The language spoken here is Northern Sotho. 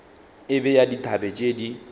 e bea dithabe tše di